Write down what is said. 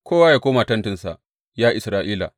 Kowa yă koma tentinsa, ya Isra’ila!